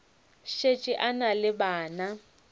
šetše a na le bana